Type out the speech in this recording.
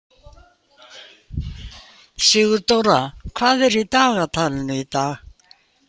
Sigurdóra, hvað er í dagatalinu í dag?